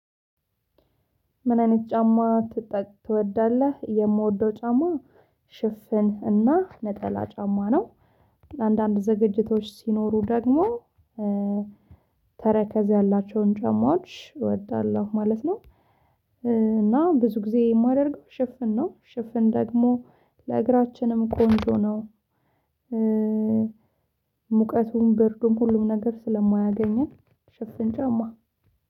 ምን አይነት ጫማ ትወዳለህ? የምወደው ጫማ ሽፍን እና ነጠላ ጫማ ነው። አንዳንድ ዝግጅቶች ሲኖሩ ደግሞ ተረከዝ ያላቸውን ጫማዎች እወዳለሁ ማለት ነው። እና ብዙ ጊዜ እማደርገው ሽፍን ነው ሽፍን ደግሞ ለእግራችንም ቆንጆ ነው። ሙቀቱም በርዱም ሁሉም ነገር ስለማያገኘን ሽፍን ጫማ